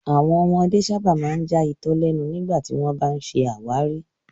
Àwọn ọmọdé sábà máa ń já itọ lẹnu nígbà tí wọ́n bá ń ṣe àwárí